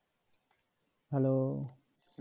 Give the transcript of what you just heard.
hello